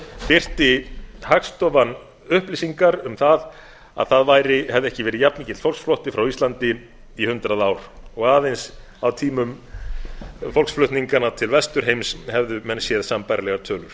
birti hagstofan upplýsingar um það að það hefði ekki verið jafnmikill fólksflótti frá landinu í hundrað ár og aðeins á tímum fólksflutninganna til vesturheims hefðu menn séð sambærilegar tölur